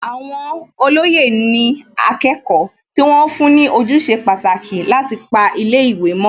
Àwọn olóyè ni akẹ́kọ̀ọ́ tí wọ́n fún ní ojúṣe pàtàkì láti pa ilé ìwé mọ́